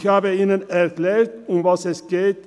Ich habe ihnen erklärt, worum es geht.